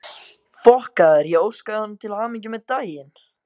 Ég óskaði honum til hamingju með daginn.